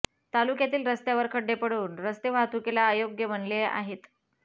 तालुक्यातील रस्त्यावर खड्डे पडून रस्ते वाहतुकीला अयोग्य बनले आहेत